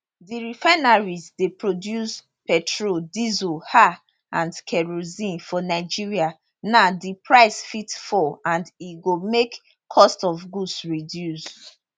di refineries dey produce petrol diesel um and kerosene for nigeria now di price fit fall and e go make cost of goods reduce